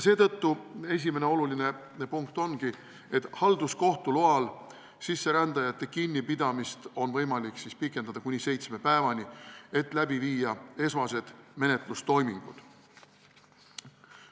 Seetõttu esimene oluline punkt ongi, et halduskohtu loal on sisserändajate kinnipidamist võimalik pikendada kuni seitsme päevani, et läbi viia esmased menetlustoimingud.